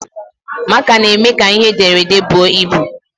Máká na-eme ka ihe ederede bụọ ịbụ